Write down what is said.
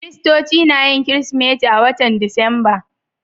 Kiristoci na yin Kirsimeti a watan Disamba.